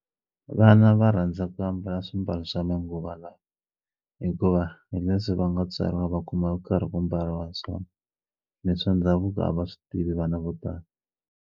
Vana va rhandza ku ambala swimbalo swa manguva lawa hikuva hi leswi va nga tswariwa va kuma ku karhi ku mbariwa swona ni swa ndhavuko a va swi tivi vana vo tala.